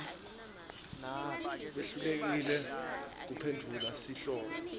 wehlulekile kuphendvula sihloko